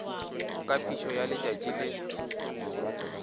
ka phišo ya letšatši le